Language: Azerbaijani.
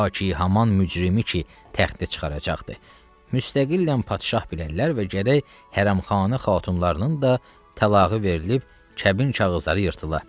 Ta ki, haman mücrimi ki, təxtə çıxaracaqdır, müstəqillə padşah bilərlər və gərək hərəm xanə xatunlarının da təlağı verilərək kəbin kağızları yırtıla.